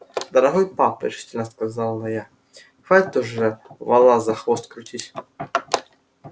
дорогой папа решительно сказала я хватит уже вола за хвост крутить